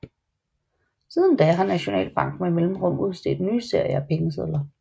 Siden da har Nationalbanken med mellemrum udstedt nye serier af pengesedler